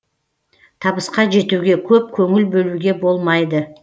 табысқа жетуге көп көңіл бөлуге болмайды